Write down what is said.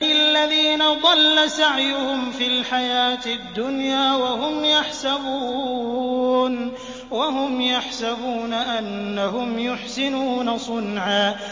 الَّذِينَ ضَلَّ سَعْيُهُمْ فِي الْحَيَاةِ الدُّنْيَا وَهُمْ يَحْسَبُونَ أَنَّهُمْ يُحْسِنُونَ صُنْعًا